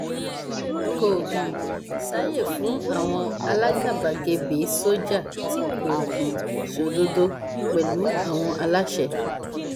kò um sáàyè fún àwọn alágàbàgebè sójà tí kò um sódodo pẹlú àwọn aláṣẹ